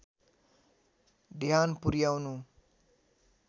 ध्यान पुर्‍याउनु